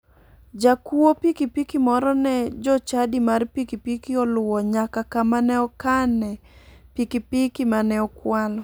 Jakuo pikipiki moro ne jochadi mar pikipiki oluwo nyaka kama ne okane pikipiki mane okwalo.